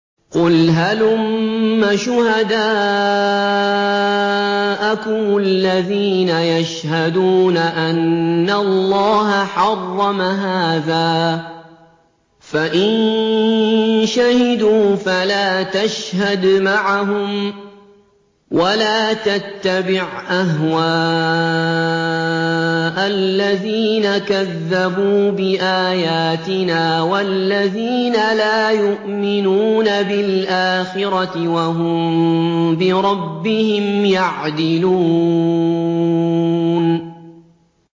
قُلْ هَلُمَّ شُهَدَاءَكُمُ الَّذِينَ يَشْهَدُونَ أَنَّ اللَّهَ حَرَّمَ هَٰذَا ۖ فَإِن شَهِدُوا فَلَا تَشْهَدْ مَعَهُمْ ۚ وَلَا تَتَّبِعْ أَهْوَاءَ الَّذِينَ كَذَّبُوا بِآيَاتِنَا وَالَّذِينَ لَا يُؤْمِنُونَ بِالْآخِرَةِ وَهُم بِرَبِّهِمْ يَعْدِلُونَ